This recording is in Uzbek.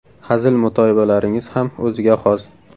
Hazil-mutoyibalaringiz ham o‘ziga xos.